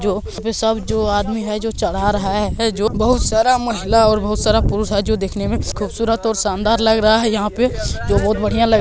जो यहाँ पे सब जो आदमी है जो चढ़ा रहा है जो बहोत सारा महिला और बहोत सारा पुरुष है जो देखने में खूबसूरत और शानदार लग रहा है यहाँ पे जो बहोत बढ़िया लग --